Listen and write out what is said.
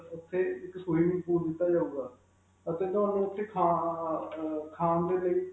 ਉਥੇ ਇਕ swimming pool ਦਿੱਤਾ ਜਾਉਗਾ ਅਤੇ ਤੁਹਾਨੂੰ ਓਥੇ ਖਾ ਅਅ ਖਖ ਖਾਣ ਦੇ ਲਈ.